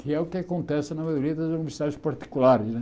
Que é o que acontece na maioria das universidades particulares, né?